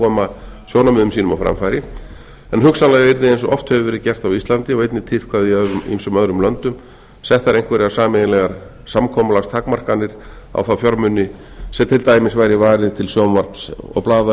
koma sjónarmiðum sínum á framfæri en hugsanlega yrði eins og oft hefur verið gert á íslandi og einnig tíðkað í ýmsum öðrum löndum settar einhverjar sameiginlegar samkomulagstakmarkanir á þá fjármuni sem til dæmis væri varið til sjónvarps og